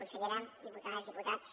consellera diputades diputats